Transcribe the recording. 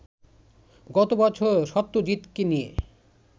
গত বছর সত্যজিৎকে নিয়ে